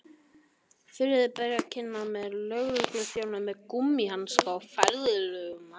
Friðrik beið kyrr meðan tveir lögregluþjónar með gúmmíhanska fjarlægðu manninn.